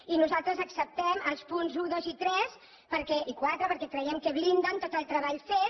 i nosaltres acceptem els punts un dos i tres i quatre perquè creiem que blinden tot el treball fet